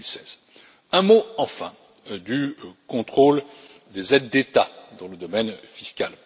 juin 2016. Un mot, enfin, au sujet du contrôle des aides d'État dans le domaine fiscal.